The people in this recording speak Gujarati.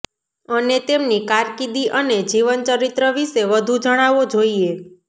અને તેમની કારકિર્દી અને જીવનચરિત્ર વિશે વધુ જણાવો જોઈએ